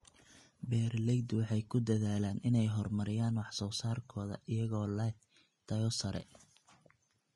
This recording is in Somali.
Beeraleydu waxay ku dadaalaan inay horumariyaan wax soo saarkooda iyagoo leh tayo sare.